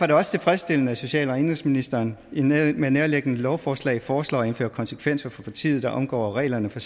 det også tilfredsstillende at social og indenrigsministeren med nærværende lovforslag foreslår at indføre konsekvenser for partier der omgår reglerne for